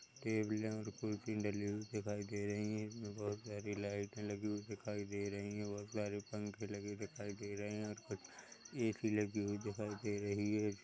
Table और कुर्सी डली हुई दिखाई दे रही हैं बहुत सारी लाइटें लगी हुई दिखाई दे रही हैं बहुत सारे पंखे लगे दिखाई दे रहे है और ए_सी लगी हुई दिखाई दे रही है।